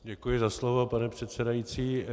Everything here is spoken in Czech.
Děkuji za slovo, pane předsedající.